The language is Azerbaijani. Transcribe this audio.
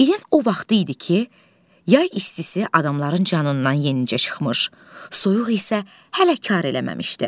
İlin o vaxtı idi ki, yay istisi adamların canından yenicə çıxmış, soyuq isə hələ kar eləməmişdi.